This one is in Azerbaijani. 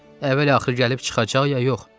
Əvvəl-axır gəlib çıxacaq ya yox?